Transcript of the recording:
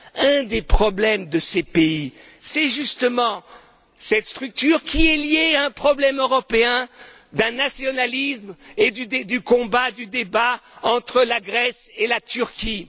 Un des problèmes de ces pays, c'est justement cette structure qui est liée à un problème européen d'un nationalisme et du combat, du débat entre la Grèce et la Turquie.